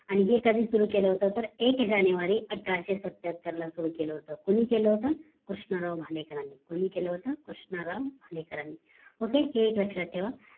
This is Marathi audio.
आणि हे कधी सुरु केलं होत तर एक जानेवारी अठराशे सत्त्याहत्तर ला सुरु केलं होत कुणी केल होत कृष्णराव भालेकरांनी कुणी केलं होत कृष्णराव भालेकरांनी OKAY हि एक लक्ष्यात ठेवा आणि